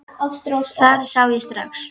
Það sá ég strax.